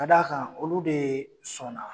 Ka d'a kan olu de sɔnna.